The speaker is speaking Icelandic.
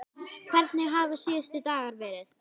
Hvernig hafa síðustu dagar verið?